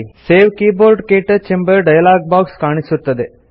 save keyboard - ಕ್ಟಚ್ ಎಂಬ dialog box ಕಾಣಿಸುತ್ತದೆ